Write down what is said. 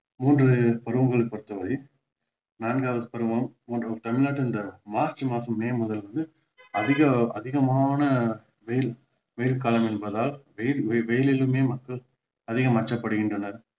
மூன்று பருவங்களை பொறுத்த வரை நான்காவது பருவம் தமிழ்நாட்டில் மார்ச் மாதம் மே முதல் அதிக அதிகமான வெயில் வெயில் காலம் என்பதால் வெ~ வெயிலிலுமே மக்கள் அதிகம் கஷ்டப்படுகின்றனர்